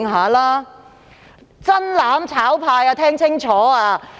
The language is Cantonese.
我請"真攬炒派"聽清楚。